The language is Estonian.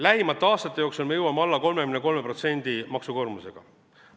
Lähimate aastate jooksul me jõuame maksukoormusega alla 33%.